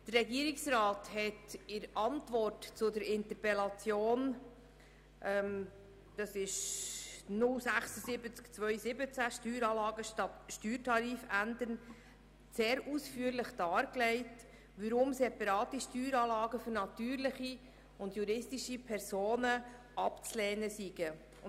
Der Regierungsrat hat in der Antwort zur Interpellation 076-2017, Steueranlage statt Steuertarif ändern, sehr ausführlich dargelegt, weshalb separate Steueranlagen für natürliche und juristische Personen abzulehnen seien.